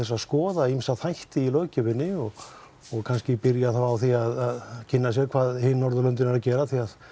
að skoða ýmsa þætti í löggjöfinni og kannski byrja á því að hvað hin Norðurlöndin eru að gera